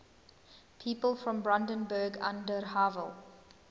people from brandenburg an der havel